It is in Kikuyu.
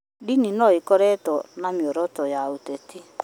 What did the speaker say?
Ndini no ĩkorwo na mĩoroto ya kĩũteti